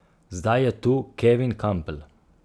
Zdaj je tu Kevin Kampl.